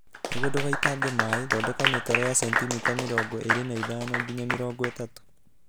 Nĩguo ndũgaitange maĩ, thondeka mĩtaro ya sentimita mĩrongo ĩrĩ nĩ ithano nginya mĩrongo ĩtatu.